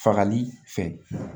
Fagali fɛ